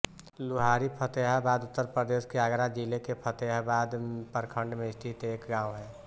लुहारी फ़तेहाबाद उत्तर प्रदेश के आगरा जिले के फ़तेहाबाद प्रखंड में स्थित एक गाँव है